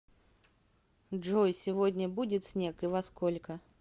джой сегодня будет снег и во сколько